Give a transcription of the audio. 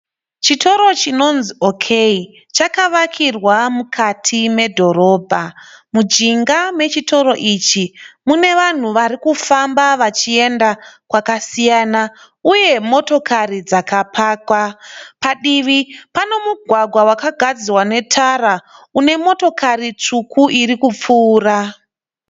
Chitoro chinonzi ok chakawakirwa mukati medhorobha mujinga mechitoro ichi mune vanhu varikufamba vachienda kwakasiyana uye motokari dzakapakwa padivi pane mugwagwa vakagadzira unetara unemotokari tsvuku irikupfuura